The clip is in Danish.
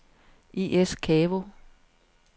I/S Kavo